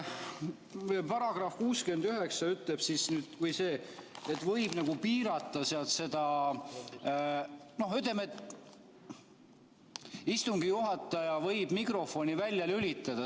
Paragrahv 69 ütleb, et võib piirata, istungi juhataja võib mikrofoni välja lülitada.